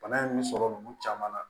Bana in bɛ sɔrɔ nunnu caman na